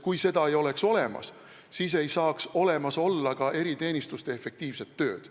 Kui seda ei oleks olemas, siis ei saaks olemas olla ka eriteenistuste efektiivset tööd.